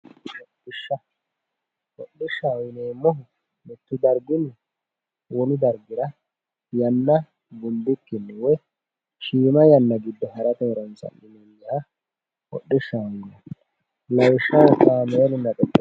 hodhishsha hodhishshaho yineemmohu mittu darginni wolu dargira yanna gundikkinni woy shiima yanna giddo harate horonsi'nanniha hodhishshaho yinanni lawishshaho kaameelunna xexerisu.